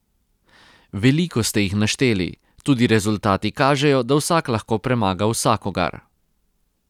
Veliko ste jih našteli, tudi rezultati kažejo, da vsak lahko premaga vsakogar.